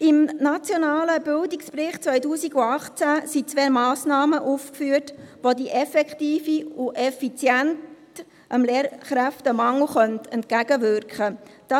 Im nationalen Bildungsbericht 2018 sind zwei Massnahmen aufgeführt, die dem Lehrkräftemangel effektiv und effizient entgegenwirken könnten: